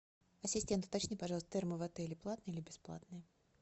ассистент уточни пожалуйста термы в отеле платные или бесплатные